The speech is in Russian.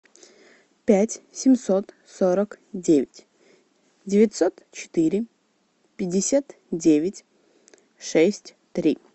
пять семьсот сорок девять девятьсот четыре пятьдесят девять шесть три